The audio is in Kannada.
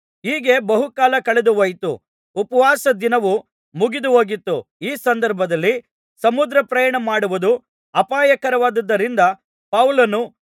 ಹೀಗೆ ಬಹುಕಾಲ ಕಳೆದುಹೋಯಿತು ಉಪವಾಸದ ದಿನವು ಮುಗಿದುಹೋಗಿತ್ತು ಈ ಸಂದರ್ಭದಲ್ಲಿ ಸಮುದ್ರಪ್ರಯಾಣ ಮಾಡುವುದು ಅಪಾಯಕರವಾಗಿದ್ದುದರಿಂದ ಪೌಲನು